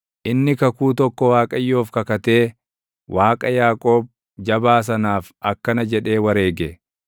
Inni kakuu tokko Waaqayyoof kakatee Waaqa Yaaqoob Jabaa sanaaf akkana jedhee wareege: